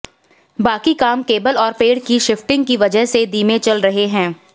बाकी काम केबल और पेड़ की शिफ्टिंग की वजह से धीमे चल रहे हैं